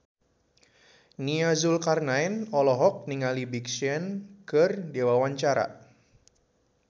Nia Zulkarnaen olohok ningali Big Sean keur diwawancara